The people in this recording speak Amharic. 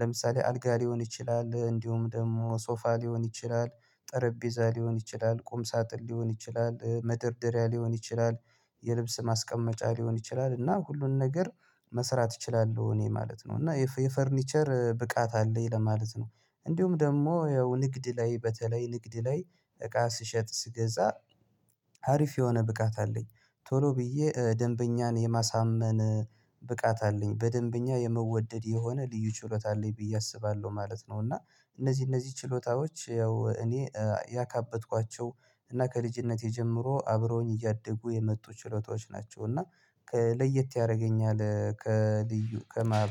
ለምሳሌ አልጋ ሊሆን ይችላል እንዲሁም ደግሞ ሶፋ ሊሆን ይችላል ጠረጴዛ ሊሆን ይችላል ቁም ሳጥን ሊሆን ይችላል መደርደሪያ ሊሆን ይችላል። የልብስ ማስቀመጫ ሊሆን ይችላል እና ሁሉን ነገር መስራት እችላለሁ እኔ ማለት ነው እና የፈርኒቸር ብቃት አለኝ ለማለት ነው። እንዲሁም ደግሞ ያው ንግድ ላይ በተለይ ንግድ ላይ እቃ ስሸጥ ስገዛ አሪፍ የሆነ ብቃት አለኝ። ቶሎ ብዬ ደንበኛን የማሳመን ብቃት አለኝ በደንበኛ የምወደድ የሆነ ልዩ ችሎታ አለኝ ብዬ አስባለሁ ማለት ነው። እና እነዚህ እነዚህ ችሎታዎች ያው እኔ ያካበትኳቸው እና ከልጅነቴ ጀምሮ አብረውኝ እያደጉ የመጡ ችሎታዎች ናቸው። እና ለየት ያደርገኛል ከልዩ ከማ